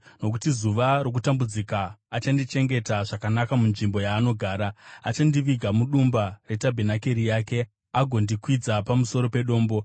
Nokuti zuva rokutambudzika achandichengeta zvakanaka munzvimbo yaanogara; achandiviga mudumba retabhenakeri yake, agondikwidza pamusoro pedombo.